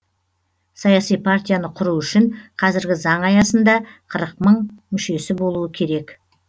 саяси партияны құру үшін қазіргі заң аясында қырық мың мүшесі болуы керек